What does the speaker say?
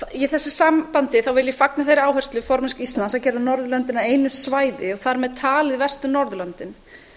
í þessu sambandi vil ég fagna þeirri áherslu formennsku íslands að gera norðurlöndin að einu svæði og þar með talið vestur norðurlöndin